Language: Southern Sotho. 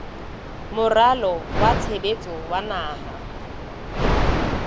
moralo wa tshebetso wa naha